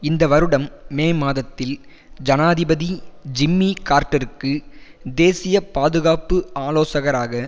இந்த வருடம் மே மாதத்தில் ஜனாதிபதி ஜிம்மி கார்ட்டருக்கு தேசிய பாதுகாப்பு ஆலோசகராக